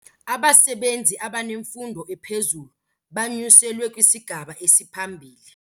Abasebenzi abanemfundo ephezulu banyuselwe kwisigaba esiphambili.